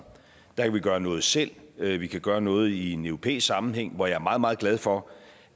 der kan vi gøre noget selv vi vi kan gøre noget i en europæisk sammenhæng og jeg er meget meget glad for